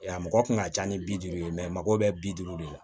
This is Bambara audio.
A mɔgɔ kun ka ca ni bi duuru ye a mago bɛ bi duuru de la